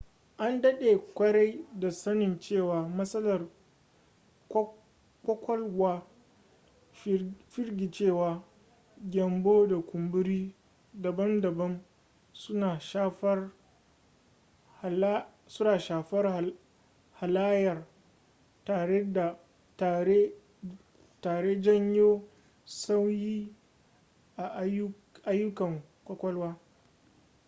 an daɗe kwarai da sanin cewa matsalar ƙwaƙwalwa firgicewa gyambo da kumburi daban-daban suna shafar halayya tare janyo sauyi a aiyukan ƙwaƙwalwa